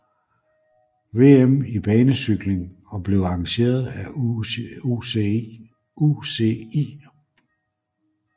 VM i banecykling og blev arrangeret af UCI